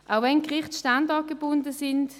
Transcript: Auch wenn die Gerichte standortgebunden sind: